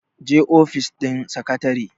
je ofis din sakatare!